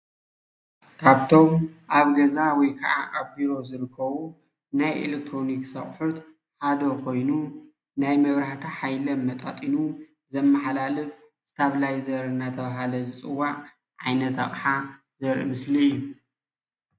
ካብቶም ኣብ ገዛ ወይ ክዓ ኣብ ቢሮ ዝርከቡ ናይ ኤሌክትሮኒክስ ኣቑሑት ሓደ ኮይኑ ናይ መብራህቲ ሓይሊ ኣመጣጢኑ ዘመሓላልፍ ስታፕላይዘር እናተብሃለ ዝፅዋዕ ዓይነት ኣቕሓ ዘርኢ ምስሊ እዩ፡፡